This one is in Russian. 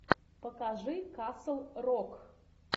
покажи касл рок